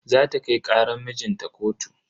Zata kai karan mijinta kotu.